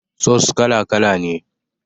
Sos kala kala ne